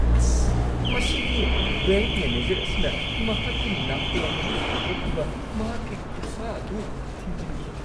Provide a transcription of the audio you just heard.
ꯑꯁ꯫ ꯃꯁꯤꯒꯤ bank manager ꯑꯁꯤꯅ ꯃꯍꯥꯛꯀꯤ ꯅꯥꯀꯣꯡ ꯑꯗꯨ ꯁꯦꯡꯗꯣꯛꯅꯕ ꯃꯍꯥꯛꯀꯤ ꯈꯨꯠꯁꯥ ꯑꯗꯨ ꯊꯤꯟꯖꯤꯟꯈꯤ꯫